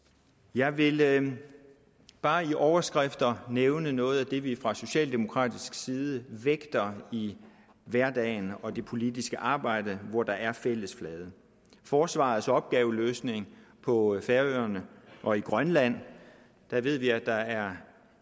jeg vil jeg vil bare i overskrifter nævne noget af det vi fra socialdemokratisk side vægter i hverdagen og det politiske arbejde hvor der er en fælles flade forsvarets opgaveløsning på færøerne og i grønland der ved vi at der er